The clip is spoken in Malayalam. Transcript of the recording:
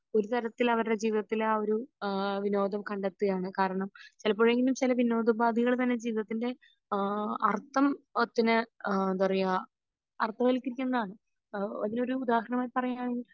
ഒരു തരത്തിൽ അവരുടെ ജീവിതത്തിൽ ആ ഒരു ആഹ് വിനോദം കണ്ടെത്തുകയാണ് കാരണം ചെലപ്പോഴെങ്കിലും ചില വിനോദോപാദികൾ തന്നെ ജീവിതത്തിൻ്റെ ആഹ് അർത്ഥം തിനെ എന്താപറയാ അർത്ഥവല്കരിക്കുന്നതാണ് അതിന് ഒരു ഉദാഹരണമായി പറയുവാണെങ്കിൽ